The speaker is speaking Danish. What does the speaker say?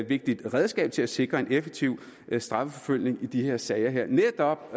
vigtigt redskab til at sikre en effektiv strafforfølgning i de her sager netop